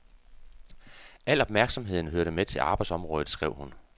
Al opmærksomheden hørte med til arbejdsområdet, skrev hun.